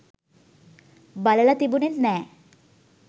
බලල තිබුනෙත් නෑ.